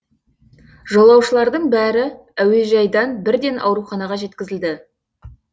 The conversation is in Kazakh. жолаушылардың бәрі әуежайдан бірден ауруханаға жеткізілді